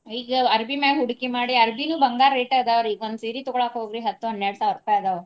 ಈಗ ಅರಬಿ ಮ್ಯಾಗ ಹೂಡಿಕೆ ಮಾಡಿ ಅರಬಿನು ಬಂಗಾರ rate ಅದಾವ್ರಿ ಈಗ ಒಂದ ಸೀರಿ ತಗೋಳಾಕ ಹೋಗ್ರಿ ಹತ್ತು ಹನ್ನೆರಡು ಸಾವಿರ ರೂಪಾಯಿ ಅದಾವ.